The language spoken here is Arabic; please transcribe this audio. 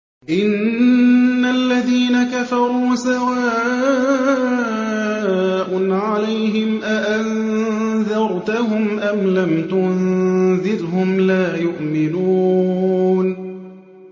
إِنَّ الَّذِينَ كَفَرُوا سَوَاءٌ عَلَيْهِمْ أَأَنذَرْتَهُمْ أَمْ لَمْ تُنذِرْهُمْ لَا يُؤْمِنُونَ